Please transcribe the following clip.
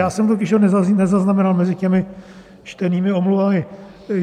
Já jsem ho totiž nezaznamenal mezi těmi čtenými omluvami.